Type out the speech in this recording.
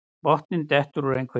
Botninn dettur úr einhverju